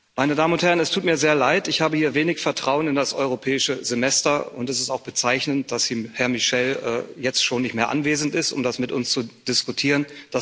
Meine Damen und Herren! Es tut mir sehr leid, ich habe hier wenig Vertrauen in das Europäische Semester, und es ist auch bezeichnend, dass Herr Michel jetzt schon nicht mehr anwesend ist, um das mit uns zu diskutieren.